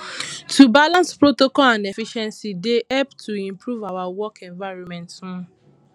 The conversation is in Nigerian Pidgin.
to balance protocol and efficiency dey help to improve our work environment um